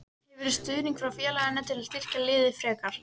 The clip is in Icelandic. Hefurðu stuðning frá félaginu til að styrkja liðið frekar?